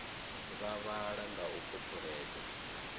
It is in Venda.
vha vhala nga u phuphuledza